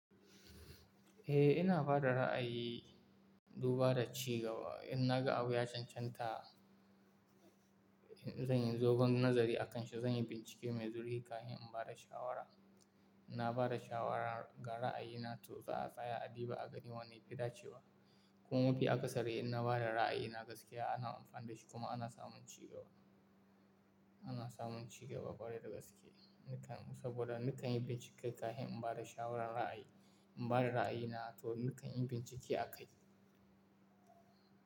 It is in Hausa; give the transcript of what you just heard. Eh ina bada ra'ayi, duba da ci gaba. In na ga abu ya cancanta, in zan yi dogon nazari a kan shi, zan yi bincike mai zurhi kafin in bada shawara. Na bada shawara ga ra'ayina to za a tsaya a duba a gani wanne yafi dacewa. Kuma fi akasari in na bada ra'ayina gaskiya ana amfani da shi kuma ana samun cigaba, ana samun cigaba ƙwarai da gaske, nikan saboda nikan yi bincike kafin in bada shawaran ra'ayi. In bada ra'ayina to nikan yi bincike a kai.